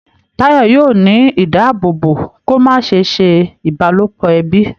Tayo yóò ní ìdáàbòbò kò má se ṣe ìbálòpọ̀ ẹbí.